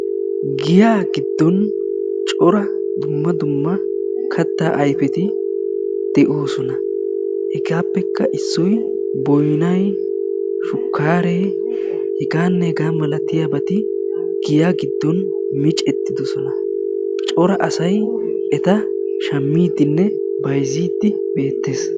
giyaa giddon cora dumma dumma kattaa ayifeti doosona. hegaappekka issoy boyinay, shukkaare hegaanne hegaa malatiyaabati giya giddon micettidosona. cora asay eta shammiiddinne bayizziiddi beettes.